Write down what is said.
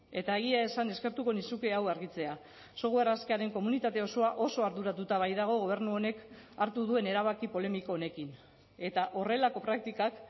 eta egia esan eskertuko nizuke hau argitzea software askearen komunitate osoa oso arduratuta baitago gobernu honek hartu duen erabaki polemiko honekin eta horrelako praktikak